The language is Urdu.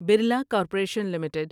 Birla corporation limited